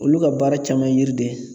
Olu ka baara caman ye yiri de ye